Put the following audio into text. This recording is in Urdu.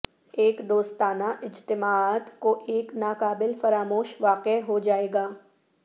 ایک دوستانہ اجتماعات کو ایک ناقابل فراموش واقعہ ہو جائے گا